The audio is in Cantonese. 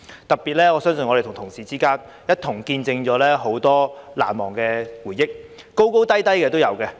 特別是我相信我們同事一起見證了很多事情，有難忘的回憶，高高低低都有。